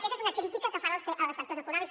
aquesta és una crítica que fan els sectors econòmics